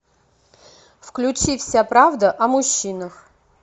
включи вся правда о мужчинах